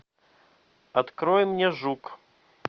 открой мне жук